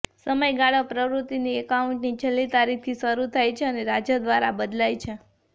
સમયગાળો પ્રવૃત્તિની એકાઉન્ટની છેલ્લી તારીખથી શરૂ થાય છે અને રાજ્ય દ્વારા બદલાય છે